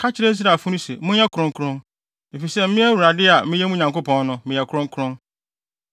“Ka kyerɛ Israelfo no se, ‘Monyɛ kronkron, efisɛ me Awurade a meyɛ mo Nyankopɔn no, meyɛ kronkron.